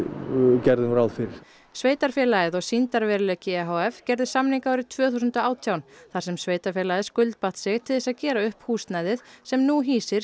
gerðum ráð fyrir sveitarfélagið og sýndarveruleiki e h f gerðu samning árið tvö þúsund og átján þar sem sveitarfélagið skuldbatt sig til þess að gera upp húsnæðið sem nú hýsir